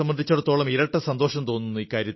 എന്നെ സംബന്ധിച്ചിടത്തോളം ഇരട്ട സന്തോഷം